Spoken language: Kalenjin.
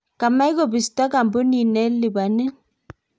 kamech kobisto kampunit ne lipanin